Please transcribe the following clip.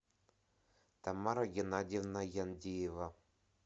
тамара геннадьевна яндиева